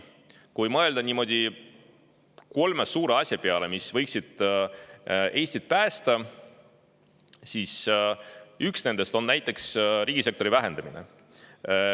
Kui mõelda kolme suure asja peale, mis võiksid Eestit päästa, siis üks nendest on näiteks riigisektori vähendamine.